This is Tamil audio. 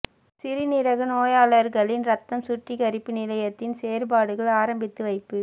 சிறு நீரக நோயாளர்களின் இரத்தம் சுற்றிகரிப்பு நிலையத்தின் செயற்பாடுகள் ஆரம்பித்து வைப்பு